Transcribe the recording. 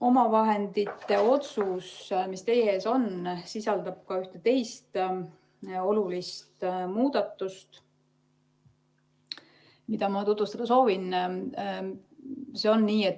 Omavahendite otsus, mis teie ees on, sisaldab ka ühte teist olulist muudatust, mida ma tutvustada soovin.